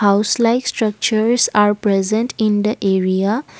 house like structures are present in the area.